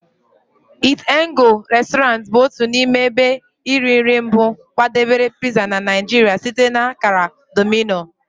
Eat'N'Go Resturant bụ otu n'ime ebe iri nri mbụ kwadebere pizza na Nigeria site na akara Domino.